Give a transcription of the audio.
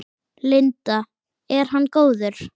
Linda: Er hann góður?